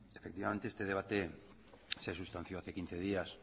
efectivamente este debate se ha sustanciado hace quince días